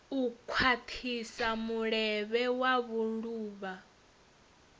u khwathisa mulevho wa vhuluvha